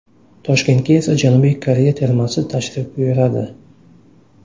Toshkentga esa Janubiy Koreya termasi tashrif buyuradi.